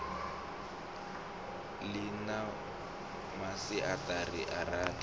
ḽi na masiaṱari a rathi